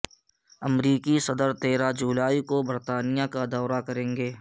امریکی صدر تیرہ جولائی کو برطانیہ کا دورہ کریں گے